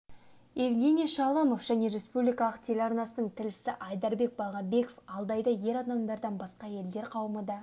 евгений шаламов және республикалық телеарнасының тілшісі айдарбек балгабеков алдайда ер адамдардан басқа әйелдер қауымы да